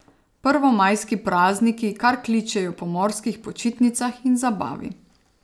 Prvomajski prazniki kar kličejo po morskih počitnicah in zabavi.